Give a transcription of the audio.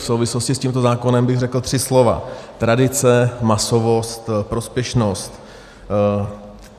V souvislosti s tímto zákonem bych řekl tři slova - tradice, masovost, prospěšnost.